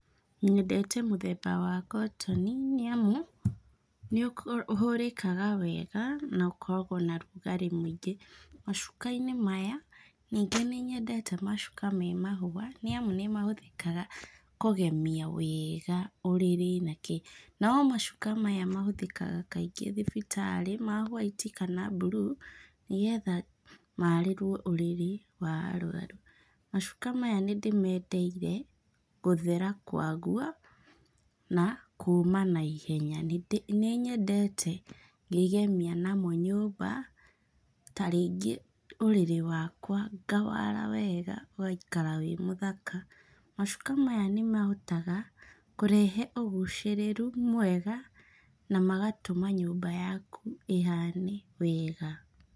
Nyendete mũthemba wa kotoni, nĩ amu nĩ ũhũrĩkaga wega, na ũkoragwo na rugarĩ mũingĩ. Macuka-inĩ maya, ningĩ nĩ nyendete macuka me mahũa, nĩ amu nĩ mahũthĩkaga kũgemia wega ũrĩrĩ na kĩ. No macuka maya mahũthĩkaga kaingĩ thibitarĩ, ma hũaiti kana mburuu, nĩgetha marĩrũo ũrĩrĩ wa arũaru. Macuka maya nĩ ndĩmendeire, gũthera kwaguo, na kũma naihenya. Nĩ nĩ nyendete ngĩgemia namo nyũmba, tarĩngĩ ũrĩrĩ wakwa, ngawara wega, ũgaikara wĩ mũthaka. Macuka maya nĩ mahotaga kũrehe ũgucĩrĩru mwega na magatũma nyũmba yaku ĩhane wega.